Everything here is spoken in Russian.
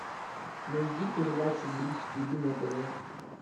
найди передачу бридж тв на тв